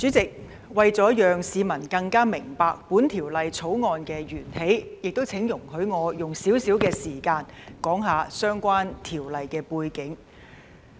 主席，為了讓市民更加明白《2021年立法會條例草案》的源起，請容許我用少許時間，談談相關條例的背景。